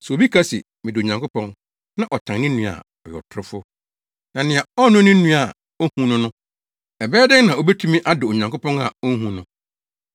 Sɛ obi ka se, “Medɔ Onyankopɔn” na ɔtan ne nua a, ɔyɛ ɔtorofo. Na nea ɔnnɔ ne nua a ohu no no, ɛbɛyɛ dɛn na obetumi adɔ Onyankopɔn a onhu no.